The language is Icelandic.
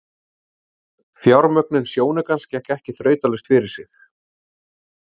Fjármögnun sjónaukans gekk ekki þrautalaust fyrir sig.